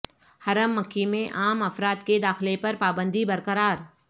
حرم مکی میں عام افراد کے داخلے پر پابندی برقرار